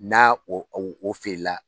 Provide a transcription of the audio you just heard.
N'a o o o feere la